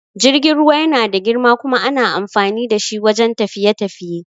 Jirgin ruwa yana da girma kuma ana amfani da shi wajan tafiye-tafiye